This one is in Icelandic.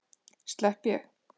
Slepp ég?